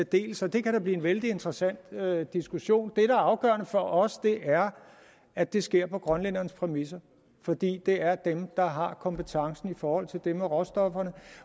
del så det kan da blive en vældig interessant diskussion det der er afgørende for os er at det sker på grønlændernes præmisser for det er dem der har kompetencen i forhold til det med råstofferne